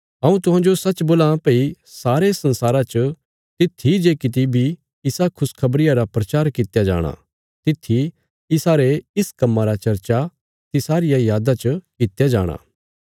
हऊँ तुहांजो सच्च बोलां भई सारे संसारा च तित्थी जे किति बी इसा खुशखबरिया रा प्रचार कित्या जाणा तित्थी इसारे इस कम्मां रा चर्चा तिसारिया यादा च कित्या जाणा